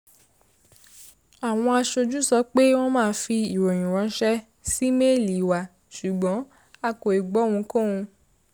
àwọn aṣojú sọ pé wọ́n máa fi ìròyìn ránṣẹ́ sí méèlì wa ṣùgbọ́n a kò ì gbọ́ ohunkóhun